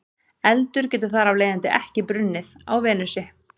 Eldur getur þar af leiðandi ekki brunnið á Venusi.